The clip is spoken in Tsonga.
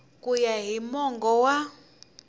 ku ya hi mongo wa